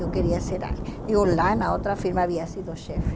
Eu queria ser... E eu lá, na outra firma, havia sido chefe.